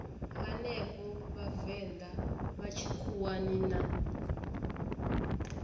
henefho vhavenḓa vha tshikhuwani na